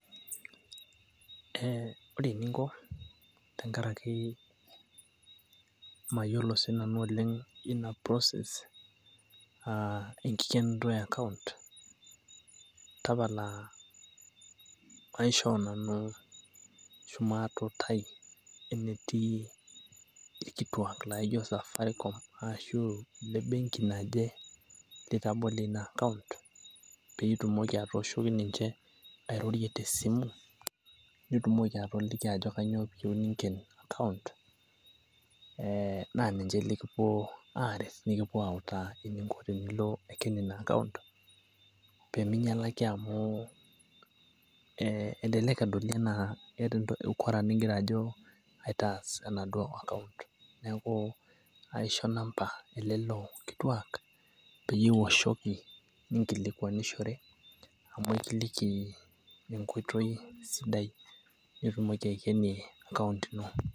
ore eninko tenkaraki mayiolo sii nanu oleng, ina process enkikenoto e account, tapala aishoo nanu ashu maatuutai enetii irkituak laijo safaricom arashu ile benki, naje litabolie ina account, pee itumoki atooshoki ninche, eninko teninken account. naa ninche likiliki eninko teninken account. pee mingialaki amu, elelek edoli anaa keeta ukoro nigira aitaas enaduo account. neeku kaisho inamba elelo sapuki pee kililki.